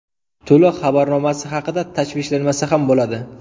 To‘lov xabarnomasi haqida tashvishlanmasa ham bo‘ladi.